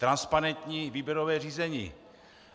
Transparentní výběrové řízení.